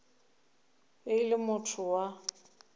be e le motho wa